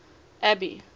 abby